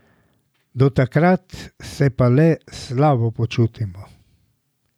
Do takrat se pa le slabo počutimo.